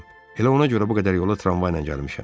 Elə ona görə bu qədər yola tramvayla gəlmişəm.